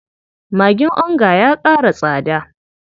Magin onga ya ƙara tsada.